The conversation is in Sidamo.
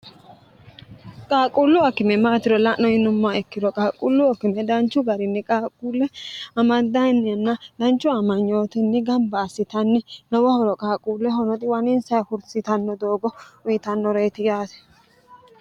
qaaquullu akime maatiro la'no yinummaa ikkiro qaaqquullu akime danchu garinni qaaquulle amaddainnianna danchu amanyootinni gamba assitanni lowo hooro qaaqquulle honoxiwaniinsa hursitanno doogo uyitannoreyiti yaate